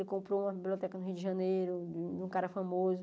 Ele comprou uma biblioteca no Rio de Janeiro, de um cara famoso.